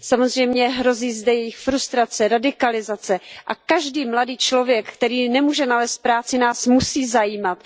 Samozřejmě, hrozí zde jejich frustrace, radikalizace a každý mladý člověk, který nemůže nalézt práci, nás musí zajímat.